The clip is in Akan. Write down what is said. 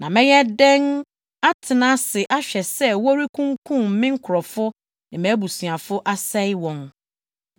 Na mɛyɛ dɛn atena ase ahwɛ sɛ wɔrekunkum me nkurɔfo ne mʼabusuafo, asɛe wɔn?”